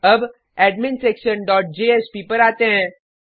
अब admin section dot JSP पर आते हैं